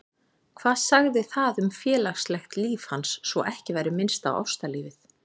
Hvað sagði það um félagslegt líf hans, svo ekki væri minnst á ástalífið?